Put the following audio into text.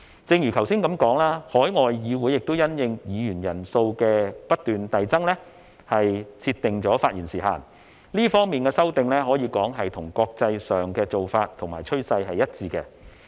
正如我剛才所說，海外議會亦因應議員人數不斷遞增而設定發言時限，這方面的修訂可說是與國際上的做法和趨勢一致。